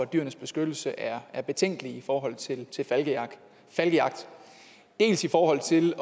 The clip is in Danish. dyrenes beskyttelse er er betænkelige i forhold til falkejagt dels i forhold til